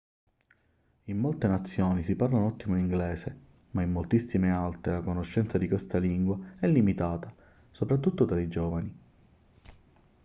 in molte nazioni si parla un ottimo inglese ma in moltissime altre la conoscenza di questa lingua è limitata soprattutto tra i giovani